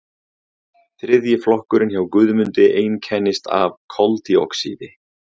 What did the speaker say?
þriðji flokkurinn hjá guðmundi einkennist af koldíoxíði